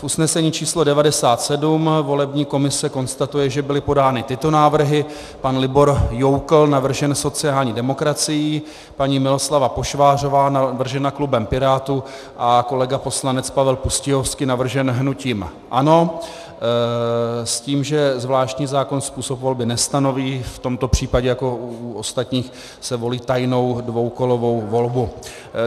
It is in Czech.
V usnesení číslo 97 volební komise konstatuje, že byly podány tyto návrhy: pan Libor Joukl, navržen sociální demokracií, paní Miloslava Pošvářová, navržena klubem Pirátů, a kolega poslanec Pavel Pustějovský, navržen hnutím ANO, s tím, že zvláštní zákon způsob volby nestanoví, v tomto případě jako u ostatních se volí tajnou dvoukolovou volbou.